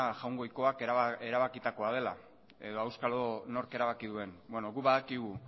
jaungoikoak erabakitakoa dela edo auskalo nork erabaki duen guk badakigu